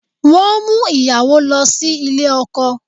Wọ́n ń mú ìyàwó lọ sí ilé ọkọ